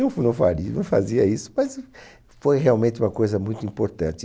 Eu f não faria, não fazia isso, mas foi realmente uma coisa muito importante.